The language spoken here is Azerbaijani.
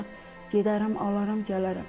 İnşallah gedərəm, alaram, gələrəm.